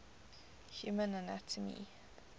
human anatomy